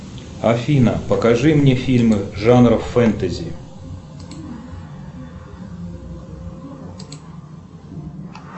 афина покажи мне фильмы жанра фэнтези